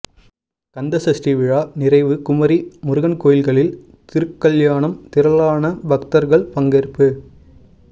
கந்தசஷ்டி விழா நிறைவு குமரி முருகன் கோயில்களில் திருக்கல்யாணம் திரளான பக்தர்கள் பங்கேற்பு